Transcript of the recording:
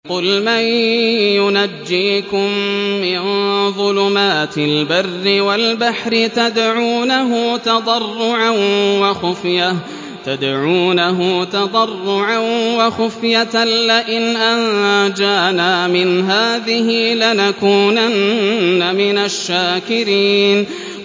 قُلْ مَن يُنَجِّيكُم مِّن ظُلُمَاتِ الْبَرِّ وَالْبَحْرِ تَدْعُونَهُ تَضَرُّعًا وَخُفْيَةً لَّئِنْ أَنجَانَا مِنْ هَٰذِهِ لَنَكُونَنَّ مِنَ الشَّاكِرِينَ